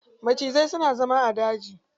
Macizai suna zama a daji.